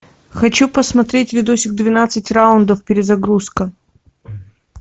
хочу посмотреть видосик двенадцать раундов перезагрузка